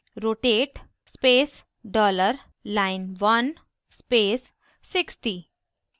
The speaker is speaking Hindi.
rotate $line1 60 rotate space dollar line1 1 space 60